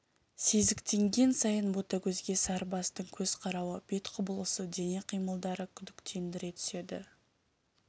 сезіктенген сайын ботагөзге сарыбастың көз қарауы бет құбылысы дене қимылдары күдіктендіре түседі